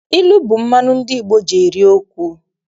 Ilu bụ mmanụ ndị Igbo ji eri okwu.